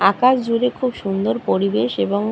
আকাশ জুড়ে খুব সুন্দর পরিবেশ এবং --